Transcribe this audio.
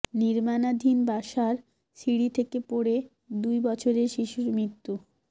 নির্মাণাধীন বাসার সিঁড়ি থেকে পড়ে দুই বছরের শিশুর মৃত্যু